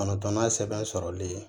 Kɔnɔntɔnnan sɛbɛn sɔrɔli ye